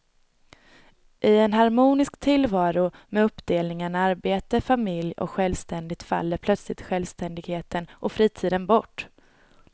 I en harmonisk tillvaro med uppdelningen arbete, familj och självständighet faller plötsligt självständigheten och fritiden bort.